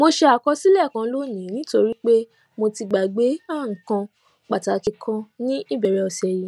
mo ṣe àkọsílè kan lónìí nítorí pé mo ti gbàgbé nǹkan pàtàkì kan ní ìbèrè òsè yìí